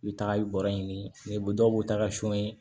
I bɛ taga bɔrɔ ɲini dɔw b'o ta ka son ye